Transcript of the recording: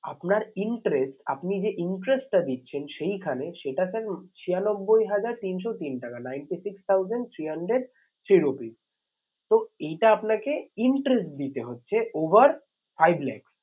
আপনার interest আপনি যে interest টা দিচ্ছেন সেইখানে সেটা sir ছিয়ানব্বই হাজার তিনশো তিন টাকা ninety six thousand three hundred three rupees তো এইটা আপনাকে interest দিতে হচ্ছে over five lakhs